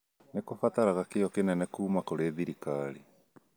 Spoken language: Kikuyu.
nĩ kũbataraga kĩyo kĩnene kuuma kũrĩ thirikari